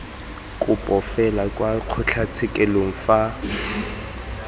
kopo fela kwa kgotlatshekelo fa